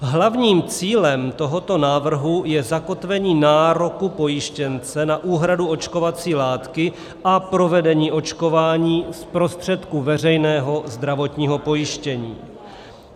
Hlavním cílem tohoto návrhu je zakotvení nároku pojištěnce na úhradu očkovací látky a provedení očkování z prostředků veřejného zdravotního pojištění.